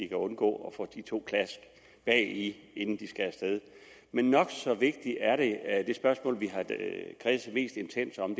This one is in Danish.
kan undgå at få de to klask bagi inden de skal af sted men nok så vigtigt er det spørgsmål vi har kredset mest intenst om